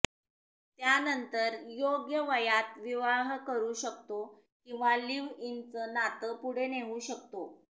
त्यानंतर योग्य वयात विवाह करू शकतो किंवा लिव्ह इनचं नात पुढे नेऊ शकतो